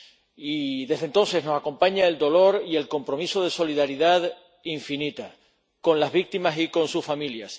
y desde entonces no acompañan el dolor y el compromiso de solidaridad infinita con las víctimas y con sus familias.